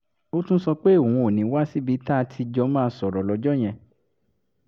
ó tún sọ pé òun ò ní wá síbi tá a ti jọ máa sọ̀rọ̀ lọ́jọ́ yẹn